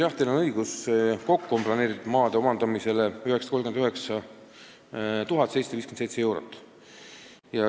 Jah, teil on õigus, kokku on plaanis kulutada maade omandamiseks 939 757 eurot.